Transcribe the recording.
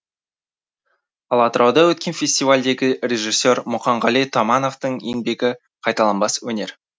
ал атырауда өткен фестивальдегі режиссер мұқанғали томановтың еңбегі қайталанбас өнер